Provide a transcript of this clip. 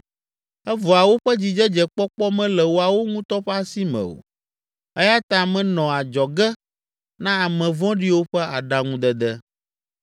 Evɔa woƒe dzidzedzekpɔkpɔ mele woawo ŋutɔ ƒe asi me o, eya ta menɔ adzɔge na ame vɔ̃ɖiwo ƒe aɖaŋudede.